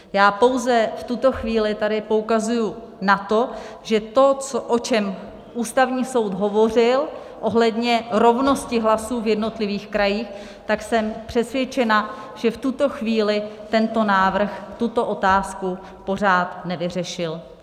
Já pouze v tuto chvíli tady poukazuji na to, že to, o čem Ústavní soud hovořil ohledně rovnosti hlasů v jednotlivých krajích, tak jsem přesvědčena, že v tuto chvíli tento návrh tuto otázku pořád nevyřešil.